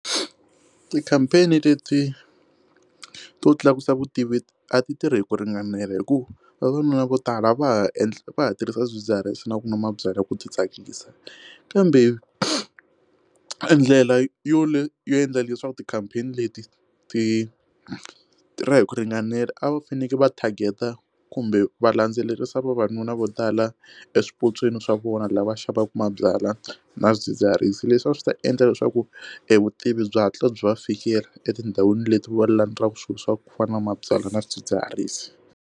Ti-campaign leti to tlakusa vutivi a ti tirhi hi ku ringanela hikuva vavanuna vo tala va ha endli va tirhisa swidzidziharisi na kunwa mabyala ku ti tsakisa kambe endlela yo yo yo endla leswaku ti-campaign leti ti ra hi ku ringanela a va fanekele va target-ta kumbe va landzelerisa vavanuna vo tala exipotsweni swa vona lava xavaka mabyalwa na swidzidziharisi leswi a swi ta endla leswaku evutivi bya hatla byi va fikela etindhawini leti va landzaku swilo swa ku fana na mabyalwa na swidzidziharisi.